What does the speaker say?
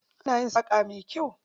Ana yin saƙa mai kyau.